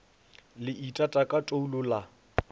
le itata ka toulo la